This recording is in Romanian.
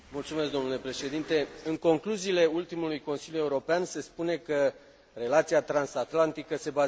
În concluziile ultimului Consiliu European se spune că relația transatlantică se bazează pe valori comune.